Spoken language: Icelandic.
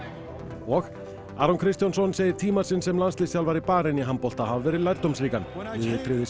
og Aron Kristjánsson segir tíma sinn sem landsliðsþjálfari Barein í handbolta hafa verið lærdómsríkan liðið tryggði sér